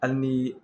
Hali ni